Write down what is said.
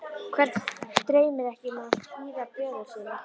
Hvern dreymir ekki um að hýða böðul sinn?